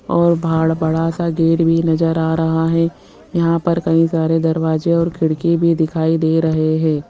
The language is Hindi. और बाहर बड़ा सा गेट भी नजर आ रहा है यहां पर कई सारे दरवाजे और खिड़की भी दिखाई दे रहे हैं।